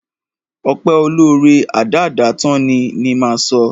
Ọpẹ́ olóóre, adáádátán ni, ni máa sọ.